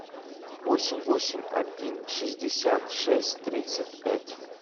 восемь восемь один шестьдесят шесть тридцать пять